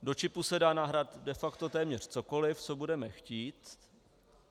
Do čipu se dá nahrát de facto téměř cokoliv, co budeme chtít.